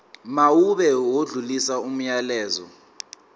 mawube odlulisa umyalezo